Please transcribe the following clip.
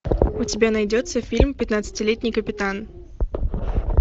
у тебя найдется фильм пятнадцатилетний капитан